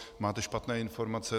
Máte špatné informace.